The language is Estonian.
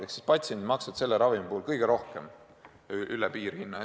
Ehk patsiendid maksavad selle ravimi puhul kõige rohkem üle piirhinna.